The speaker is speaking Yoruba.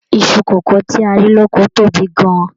Iṣu kókò ta rí lókò tóbi gan-an.